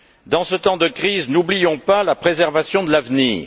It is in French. Dans ce temps de crise, n'oublions pas la préservation de l'avenir.